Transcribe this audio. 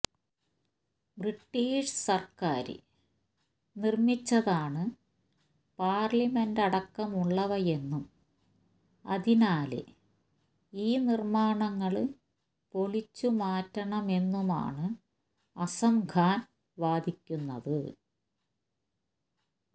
British സര്ക്കാര് നിര്മിച്ചതാണ് പാര്ലമെന്റടക്കമുള്ളവയെന്നും അതിനാല് ഈ നിര്മാണങ്ങള് പൊളിച്ചു മാറ്റണമെന്നുമാണ് അസം ഖാന് വാദിക്കുന്നത്